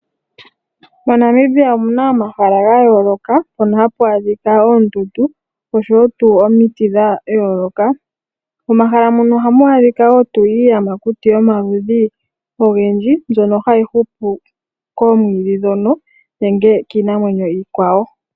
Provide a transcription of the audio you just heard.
MoNamibia omu na omahala gaayoloka, hono haku adhika oondundu, noshowo omiti dhayooloka. Momahala muno ohamu adhika wo iiyamakuti yomaludhi ogendji, mbyono hayi hupu koomwiidhi ndhono, nenge kiinamwenyo iikwawo.